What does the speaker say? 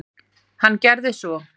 Hann gerði svo.